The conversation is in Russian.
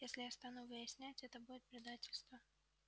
если я стану выяснять это будет предательство